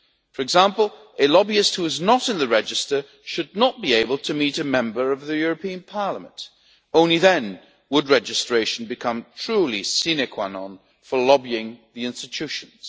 For example, a lobbyist who is not in the register should not be able to meet a Member of the European Parliament. Only then would registration become truly a sine qua non for lobbying the institutions.